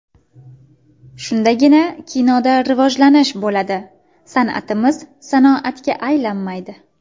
Shundagina kinoda rivojlanish bo‘ladi, san’atimiz sanoatga aylanmaydi.